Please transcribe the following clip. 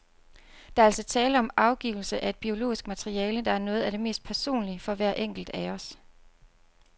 Der er altså tale om afgivelse af et biologisk materiale, der er noget af det mest personlige for hver enkelt af os.